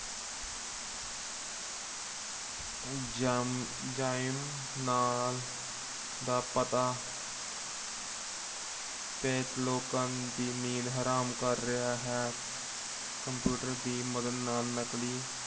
ਨਾਲ ਦਾ ਪਤਾ ਲੋਕਾਂ ਦੀ ਨੀਂਦ ਹਰਾਮ ਕਰ ਰਿਹਾ ਹੈ। computer ਦੀ ਮਦਦ ਨਾਲ ਨਕਲੀ